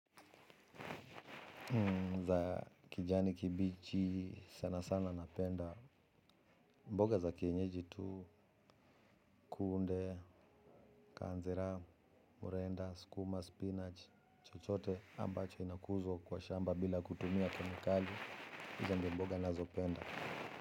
Mboga za kijani kibichi sana sana napenda. Mboga za kienyeji tu kunde, kanzira, murenda, skuma, spinach, chochote ambacho inakuzwa kwa shamba bila kutumia kemikali. Hizo ndio mboga ninazo penda.